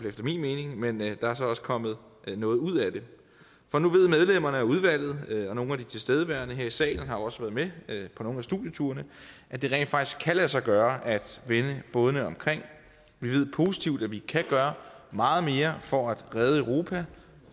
efter min mening men der er så også kommet noget ud af det for nu ved medlemmerne af udvalget og nogle af de tilstedeværende her i salen har også været med nogle af studieturene at det rent faktisk kan lade sig gøre at vende bådene omkring vi ved positivt at vi kan gøre meget mere for at redde europa